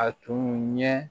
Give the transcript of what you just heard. A tun ɲɛ